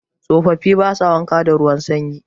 Tsofafi ba sa wanka da ruwan sanyi.